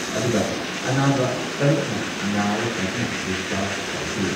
ꯑꯗꯨꯒ ꯑꯅꯥꯕ ꯇꯔꯨꯛꯅ ꯅꯥꯕ ꯐꯗꯨꯅ ꯗꯤꯁꯆꯥꯔꯖ ꯇꯧꯈꯤ ꯫